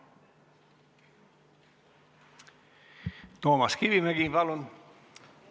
Toomas Kivimägi, palun!